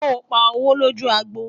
sọ pá owó loju àgbò?